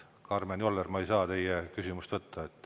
Karmen Joller, ma ei saa teie küsimust võtta.